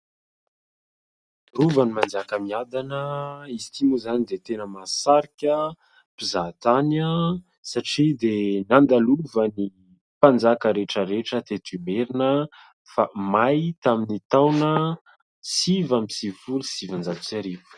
Rovan'i Manjakamiadana, izy ity moa izany dia tena masahasarika mpizahatany satria dia nandalovan'ny mpanjaka rehetra rehetra teto Imerina, fa may tamin'ny taona sivy amby sivifolo sy sivinjato sy arivo.